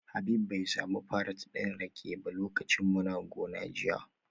Habib bai sami farat din rake ba lokacin muna gona jiya